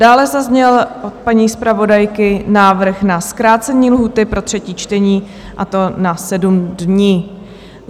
Dále zazněl od paní zpravodajky návrh na zkrácení lhůty pro třetí čtení, a to na 7 dní.